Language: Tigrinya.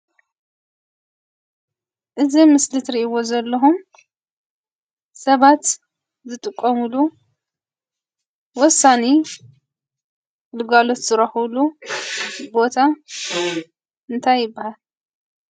እዚ ኣብ ምስሊ ትሪእዎ ዘለኹም ሰባት ዝጥቀሙሉ ወሳኒ ግልጋሎት ዝረኽብሉ ቦታ ታይ ይበሃል?